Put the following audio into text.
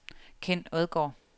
Ken Odgaard